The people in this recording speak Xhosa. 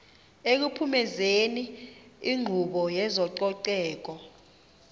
ekuphumezeni inkqubo yezococeko